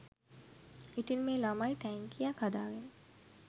ඉතින් මේ ළමයි ටැංකියක් හදාගෙන